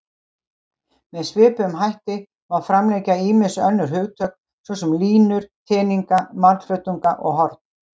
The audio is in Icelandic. Með svipuðum hætti má framlengja ýmis önnur hugtök, svo sem línur, teninga, margflötunga og horn.